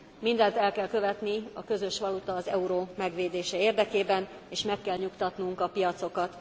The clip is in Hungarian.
Mindent el kell követni a közös valuta, az euró megvédése érdekében, és meg kell nyugtatnunk a piacokat.